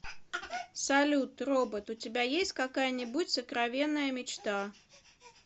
салют робот у тебя есть какая нибудь сокровенная мечта